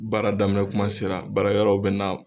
Baara daminɛ kuma sera baarakɛlaw bɛ na